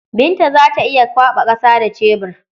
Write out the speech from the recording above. Binta za ta iya kwaɓa ƙasa da cebur.